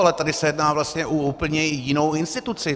Ale tady se jedná vlastně o úplně jinou instituci.